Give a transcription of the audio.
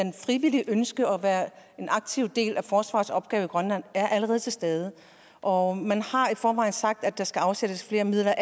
frivillige ønske om at være en aktiv del af forsvarets opgaver i grønland allerede er til stede og man har i forvejen sagt at der skal afsættes flere midler